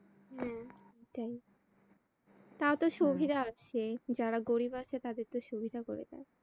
হ্যাঁ এটাই। তাও তো সুবিধা আছে যারা গরিব আছে তাদের তো সুবিধা করে দেয়।